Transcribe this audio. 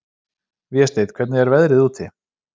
Vésteinn, hvernig er veðrið úti?